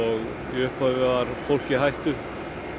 í upphafi var fólk í hættu